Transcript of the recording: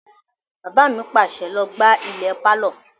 Bàbá mi pàṣẹ, "Lọ gbá ilẹ̀ pálọ̀!"